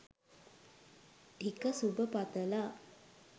ටික සුභ පතලා.